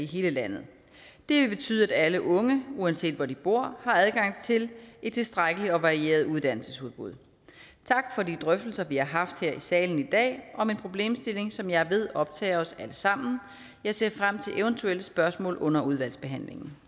hele landet det vil betyde at alle unge uanset hvor de bor har adgang til et tilstrækkeligt og varieret uddannelsesudbud tak for de drøftelser vi har haft her i salen i dag om en problemstilling som jeg ved optager os alle sammen jeg ser frem til eventuelle spørgsmål under udvalgsbehandlingen